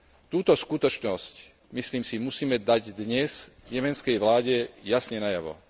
Túto skutočnosť, myslím si, musíme dať dnes jemenskej vláde jasne najavo.